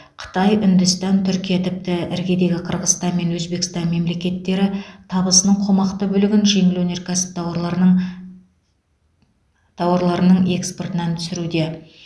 қытай үндістан түркия тіпті іргедегі қырғызстан мен өзбекстан мемлекеттері табысының қомақты бөлігін жеңіл өнеркәсіп тауарларының тауарларының экспортынан түсіруде